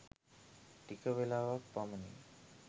ටික වෙලාවක් පමණි.